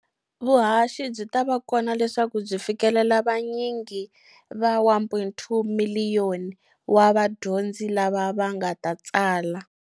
Vuhaxi byi ta va kona leswaku byi fikelela vanyingi va 1.2 miliyoni wa vadyondzi lava va nga ta tsala.